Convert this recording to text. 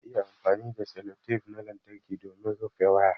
Za'a iya amfani da sellotape na lantarƙi domin rufe waya